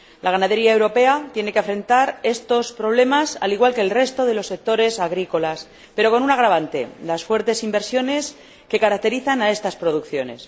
La ganadería europea tiene que afrontar estos problemas al igual que el resto de los sectores agrícolas, pero con un agravante las fuertes inversiones que caracterizan a estas producciones.